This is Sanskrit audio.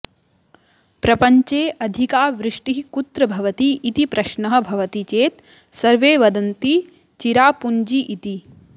प्रपञ्चे अधिका वृष्टिः कुत्र भवति इति प्रश्नः भवति चेत् सर्वे वदन्ति चिरापुञ्जी इति